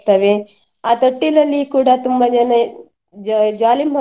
ಆ ತೊಟ್ಟಿಲಲ್ಲಿಕೂಡ ತುಂಬ ಜನ jo~ jolly ಮಾಡುವವರು.